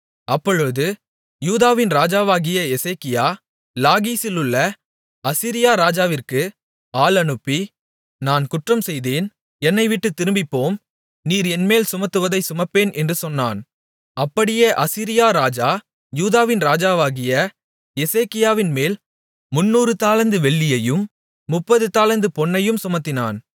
அப்பொழுது யூதாவின் ராஜாவாகிய எசேக்கியா லாகீசிலுள்ள அசீரியா ராஜாவிற்கு ஆள் அனுப்பி நான் குற்றம்செய்தேன் என்னைவிட்டுத் திரும்பிப்போம் நீர் என்மேல் சுமத்துவதைச் சுமப்பேன் என்று சொன்னான் அப்படியே அசீரியா ராஜா யூதாவின் ராஜாவாகிய எசேக்கியாவின்மேல் முந்நூறு தாலந்து வெள்ளியையும் முப்பது தாலந்து பொன்னையும் சுமத்தினான்